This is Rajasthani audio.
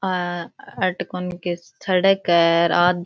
आ अठ कोनी के सड़क है र आ --